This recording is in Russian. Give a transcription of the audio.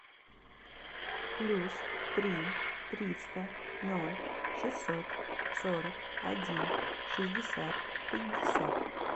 плюс три триста ноль шестьсот сорок один шестьдесят пятьдесят